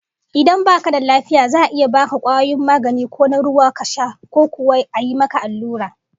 Idan baka da lafiya za'a iya baka kwayoyin magani ko na ruwa ka sha, ko kuwa a yi maka allura